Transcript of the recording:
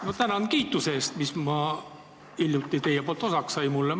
Ma tänan kiituse eest, mis mulle teie poolt osaks sai!